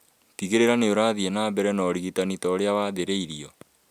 Tigĩrĩra nĩũrathiĩ na mbere na ũrigitani ta ũrĩa wathĩrũĩirwo